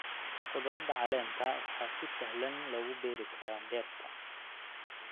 Khudradda caleenta waxaa si sahlan loogu beeri karaa beerta.